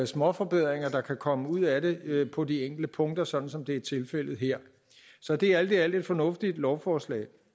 småforbedringer der kan komme ud af det på de enkelte punkter sådan som det er tilfældet her så det er alt i alt et fornuftigt lovforslag